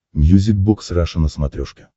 мьюзик бокс раша на смотрешке